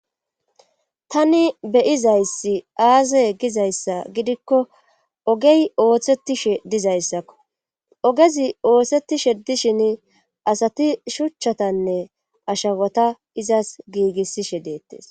tani beyizayssi aaze gizayssa gidikko ogey ooththettishe dizayssakko ogezi ooththetishe dishin asati shuchchatanne ashawota izas giigissishe deettes